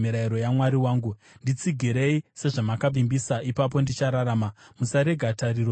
Nditsigirei sezvamakavimbisa, ipapo ndichararama; musarega tariro yangu ichidzimwa.